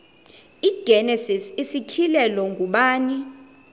igenesis isityhilelo ngubani